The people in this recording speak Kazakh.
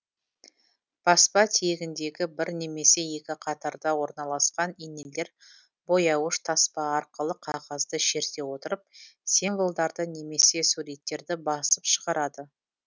баспа тиегіндегі бір немесе екі қатарда орналасқан инелер бояуыш таспа арқылы қағазды шерте отырып символдарды немесе суреттерді басып шығарады